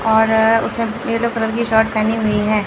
और उसने yellow colour की शर्ट पहनी हुई हैं।